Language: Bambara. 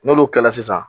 N'olu kɛla sisan